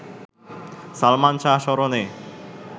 সালমান শাহ স্মরণে